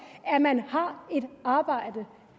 at man har et arbejde